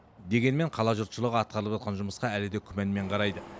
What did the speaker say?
дегенмен қала жұртшылығы атқарылып атқан жұмысқа әлі де күмәнмен қарайды